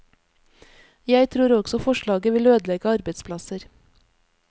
Jeg tror også forslaget vil ødelegge arbeidsplasser.